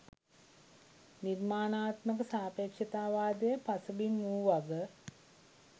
නිර්මාණාත්මක සාපෙක්ෂතාවාදය පසුබිම වූ බව